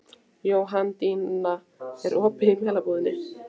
Jóhanndína, er opið í Melabúðinni?